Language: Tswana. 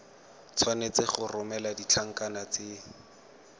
tshwanetse go romela ditlankana tse